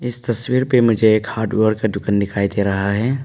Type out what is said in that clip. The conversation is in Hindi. इस तस्वीर पर मुझे एक हार्डवेयर दुकान दिखाई दे रहा है।